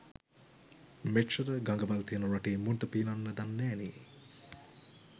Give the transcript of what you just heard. මෙච්චර ගඟවල් තියෙන රටේ මුන්ට පීනන්න දන්නෑනේ.